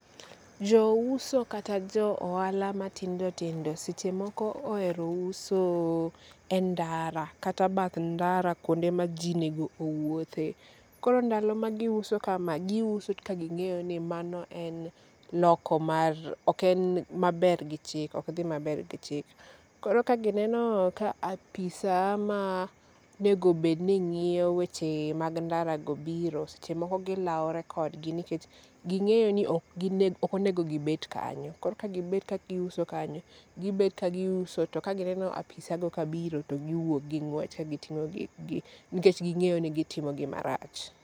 Jouso kata jo ohala matindo tindo sechemoko ohero uso e ndara kata bath ndara kuonde ma ji nego owuothe. Koro ndalo ma giuso kamae. Giuso ka ging'eyo ni mano en loko mar oken maber gi chik ok dhi maber gi chik. Koro ka gineno ka apisa manego bedni ng'iyo weche mag ndara go biro sechemoko gilawre kodgi nikech ging'eyo ni okonego gibet kanyo. Koro ka gibet kagiuso kanyo gibet kagiuso to ka gineno apisa go kabiro to giwuok gi ng'wech ka giting'o gikgi nikech ging'eyo ni gitimo gima rach.